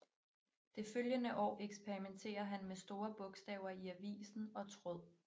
Det følgende år eksperimenterer han med store bogstaver i avisen og tråd